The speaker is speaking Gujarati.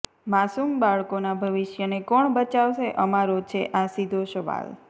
માસુમ બાળકોના ભવિષ્યને કોણ બચાવશે અમારો છે અા સીધો સવાલ